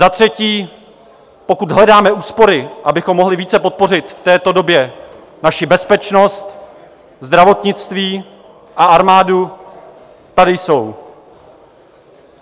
Za třetí, pokud hledáme úspory, abychom mohli více podpořit v této době naši bezpečnost, zdravotnictví a armádu, tady jsou.